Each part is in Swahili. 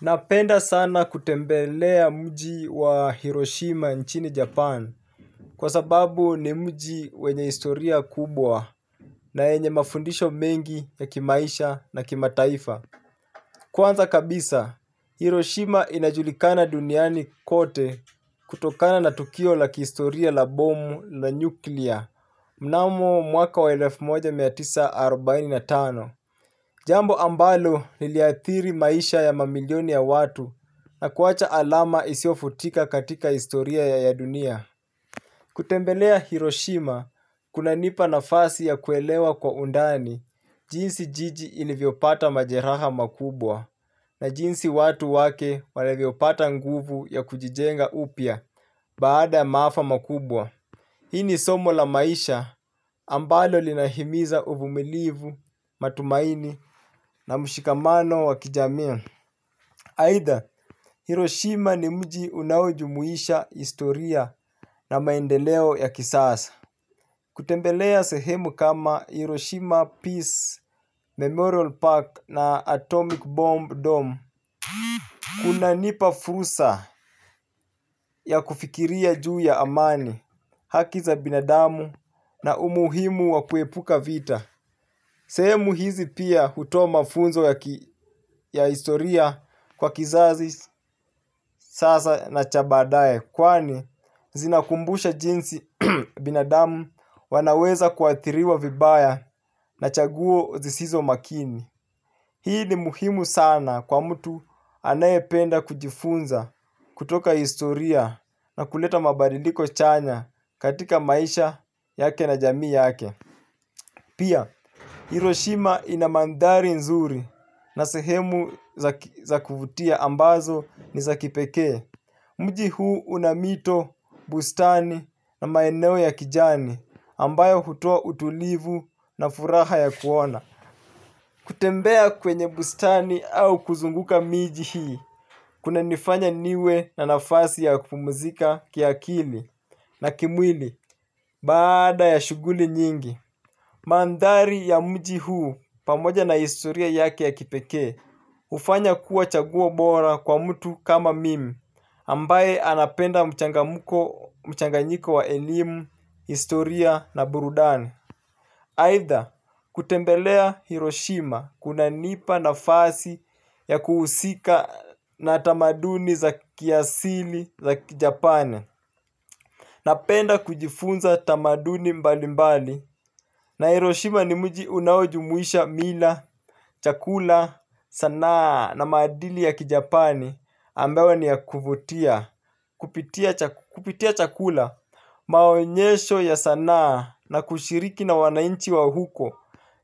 Napenda sana kutembelea mji wa Hiroshima nchini Japan kwa sababu ni mji wenye historia kubwa. Na yenye mafundisho mengi ya kimaisha na kimataifa. Kwanza kabisa, Hiroshima inajulikana duniani kote. Kutokana na tukio la kihistoria la bomu la nyuklia mnamo mwaka wa elfu moja mia tisa arubaini na tano jambo ambalo liliathiri maisha ya mamilioni ya watu na kuacha alama isiyofutika katika historia ya dunia. Kutembelea Hiroshima kunanipa nafasi ya kuelewa kwa undani jinsi jiji ilivyopata majeraha makubwa na jinsi watu wake walivyopata nguvu ya kujijenga upya baada ya maafa makubwa hii ni somo la maisha ambalo linahimiza uvumilivu, matumaini na mshikamano wa kijamii. Aidha Hiroshima ni mji unaojumuisha historia na maendeleo ya kisasa. Kutembelea sehemu kama Hiroshima Peace Memorial Park na Atomic Bomb Dome. Kunanipa fursa ya kufikiria juu ya amani, haki za binadamu na umuhimu wa kuepuka vita. Sehemu hizi pia hutoa mafunzo ya historia kwa kizazi sasa na cha baadaye kwani zinakumbusha jinsi binadamu wanaweza kuathiriwa vibaya na chaguo zisizo makini. Hii ni muhimu sana kwa mtu anayependa kujifunza kutoka historia na kuleta mabadiliko chanya katika maisha yake na jamii yake. Pia, Hiroshima ina mandhari nzuri na sehemu za kuvutia ambazo ni za kipekee. Mji huu una mito, bustani na maeneo ya kijani ambayo hutoa utulivu na furaha ya kuona. Kutembea kwenye bustani au kuzunguka miji hii kunanifanya niwe na nafasi ya kupumzika kiakili na kimwili baada ya shughuli nyingi. Mandhari ya mji huu pamoja na historia yake ya kipekee hufanya kuwa chaguo bora kwa mtu kama mimi ambaye anapenda mchangamko mchanganyiko wa elimu, historia na burudani. Aidha kutembelea Hiroshima kunanipa nafasi ya kuhusika na tamaduni za kiasili za kijapani. Napenda kujifunza tamaduni mbalimbali. Na Hiroshima ni mji unaojumuisha mila, chakula, sanaa na maadili ya kijapani ambayo ni ya kuvutia kupitia chakula, maonyesho ya sanaa na kushiriki na wananchi wa huko.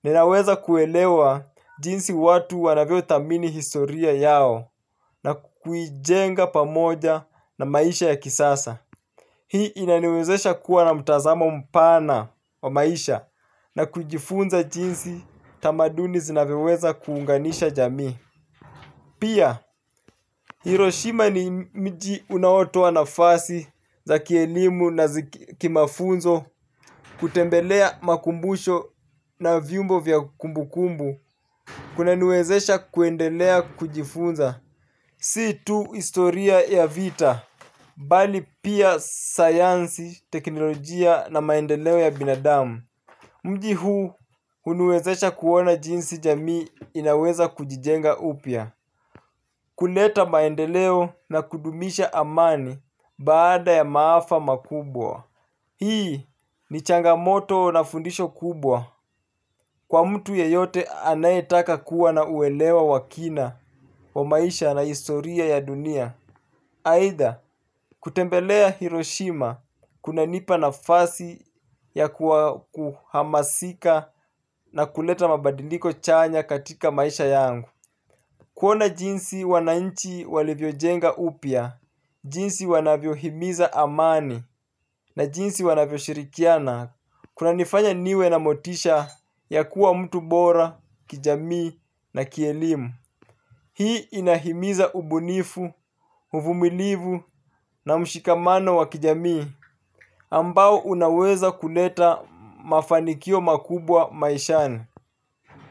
Ninaweza kuelewa jinsi watu wanavyothamini historia yao na kuijenga pamoja na maisha ya kisasa. Hii inaniwezesha kuwa na mtazamo mpana wa maisha na kujifunza jinsi tamaduni zinavyoweza kuunganisha jamii. Pia Hiroshima ni mji unaotoa nafasi za kielimu na kimafunzo kutembelea makumbusho na viumbo vya kumbukumbu kunaniwezesha kuendelea kujifunza. Si tu historia ya vita bali pia sayansi, teknolojia na maendeleo ya binadamu. Mji huu huniwezesha kuona jinsi jamii inaweza kujijenga upya. Kuleta maendeleo na kudumisha amani baada ya maafa makubwa. Hii ni changamoto na fundisho kubwa kwa mtu yeyote anayetaka kuwa na uelewa wa kina wa maisha na historia ya dunia. Aidha, kutembelea Hiroshima kunanipa nafasi ya kuhamasika na kuleta mabadiliko chanya katika maisha yangu. Kuona jinsi wananchi walivyojenga upya, jinsi wanavyohimiza amani na jinsi wanavyoshirikiana. Kunanifanya niwe na motisha ya kuwa mtu bora kijamii na kielimu. Hii inahimiza ubunifu, uvumilivu na mshikamano wa kijamii ambao unaweza kuleta mafanikio makubwa maishani.